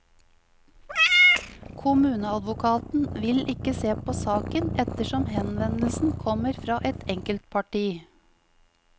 Kommuneadvokaten vil ikke se på saken ettersom henvendelsen kommer fra et enkeltparti.